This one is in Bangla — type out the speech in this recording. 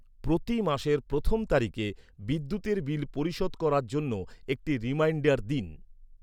প্রতি মাসের প্রথম তারিখে বিদ্যুতের বিল পরিশোধ করার জন্য একটি রিমাইন্ডার দিন।